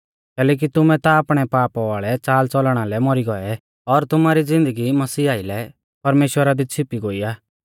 कैलैकि तुमै ता आपणै पाप वाल़ै च़ालच़लणा लै मौरी गौऐ और तुमारी ज़िन्दगी मसीह आइलै परमेश्‍वर दी छ़िपी गोई आ